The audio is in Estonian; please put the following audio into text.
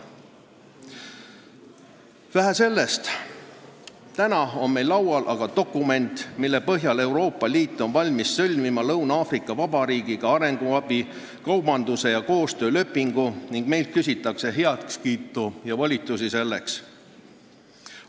Vähe sellest, täna on meil laual dokument, mille põhjal Euroopa Liit on valmis sõlmima Lõuna-Aafrika Vabariigiga arenguabi, kaubanduse ja koostöö lepingu ning meilt küsitakse heakskiitu ja volitust selleks.